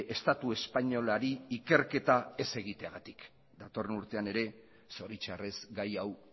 estatu espainolari ikerketa ez egiteagatik datorren urtean ere zoritxarrez gai hau